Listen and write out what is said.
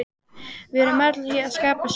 Við erum öll að skapa sögu.